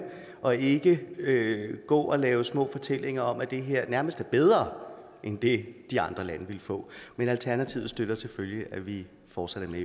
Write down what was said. og ikke gå og lave små fortællinger om at det her nærmest er bedre end det de andre lande ville få men alternativet støtter selvfølgelig at vi fortsat